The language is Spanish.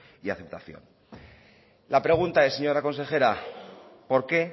y aceptación la pregunta es señora consejera por qué